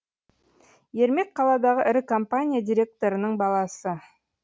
ермек қаладағы ірі компания директорының баласы